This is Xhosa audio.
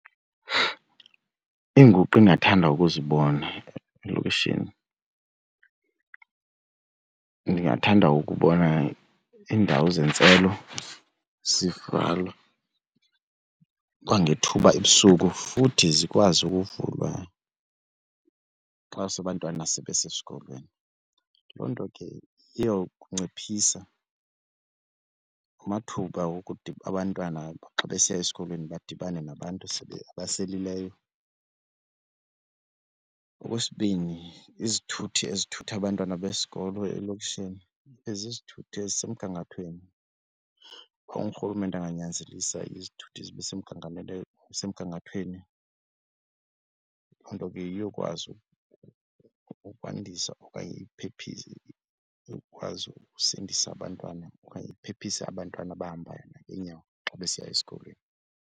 Iinguqu endingathanda ukuzibona elokishini ndingathanda ukubona iindawo zentselo zivalwa kwangethuba ebusuku futhi zikwazi ukuvula kuba xase abamntwana sebe sesikolweni. Loo nto ke iyokunciphisa amathuba wokuthi abantwana xa besiya esikolweni badibane nabantu abaselileyo. Okwesibini izithuthi ezithutha abantwana besikolo elokishini ibe zizithuthi ezisemgangathweni. Uba urhulumente anganyanzelisa izithuthi zibe zibesemgangathweni loo nto ke iyokwazi ukwandisa okanye ikwazi ukusindisa abantwana okanye iphephise abantwana abahamba ngeenyawo xa besiya esikolweni.